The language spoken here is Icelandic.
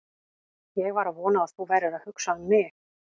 Ég var að vona að þú værir að hugsa um mig!